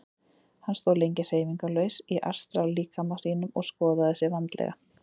Hann stóð lengi hreyfingarlaus í astrallíkama sínum og skoðaði sig vandlega.